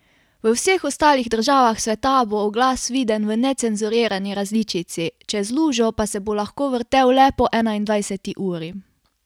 V vseh ostalih državah sveta bo oglas viden v necenzurirani različici, čez lužo pa se bo lahko vrtel le po enaindvajseti uri.